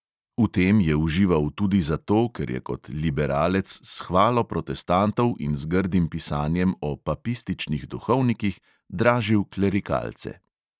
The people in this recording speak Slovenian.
V tem je užival tudi zato, ker je kot liberalec s hvalo protestantov in z grdim pisanjem o papističnih duhovnikih dražil klerikalce.